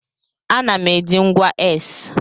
Ana m eji ngwa X.